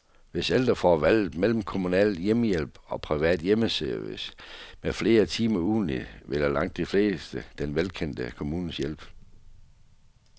Hvis ældre får valget mellem kommunal hjemmehjælp og privat hjemmeservice med flere timer ugentligt, vælger langt de fleste den velkendte kommunale hjælp.